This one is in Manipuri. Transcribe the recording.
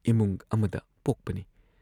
ꯏꯃꯨꯡ ꯑꯃꯗ ꯄꯣꯛꯄꯅꯤ ꯫